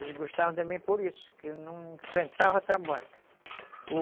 Eles gostavam de mim por isso, que eu enfrentava trabalho.